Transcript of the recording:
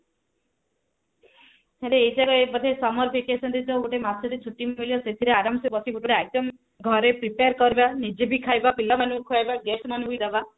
ସେଟା ଏଥର summer vacation ରେ ଯେବେ ଗୋଟେ ମାସ ଟେ ଛୁଟି ମିଳିବ ସେଥିରେ ଆରମ ସେ ବସି ଗୋଟେ ଗୋଟେ item ଘରେ prepare କରିବା ନିଜେ ବି ଖାଇବା ପିଲାମାନଙ୍କୁ ଖୁଆଇବା guest ମାନଙ୍କୁ ବି ଦେବା